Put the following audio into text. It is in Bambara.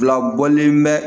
Fila bɔlen bɛ